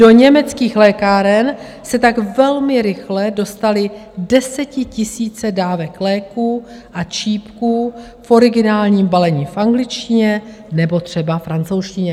Do německých lékáren se tak velmi rychle dostaly desetitisíce dávek léků a čípků v originálním balení v angličtině nebo třeba francouzštině.